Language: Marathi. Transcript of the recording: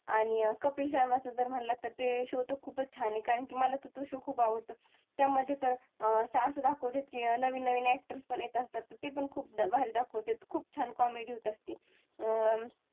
आणि कपिल शर्माचं जर म्हंटला तर ते show तर खुपच छान आहे कारण कि मला पण तो show खुप आवडतो त्यामध्ये असं दाखवतेत कि नवीन नवीन actors पण येत असतात ते पण खुप भारी दाखवतात खुप छान comedy होत असते अं